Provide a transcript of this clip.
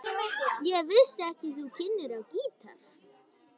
Ég vissi ekki að þú kynnir á gítar.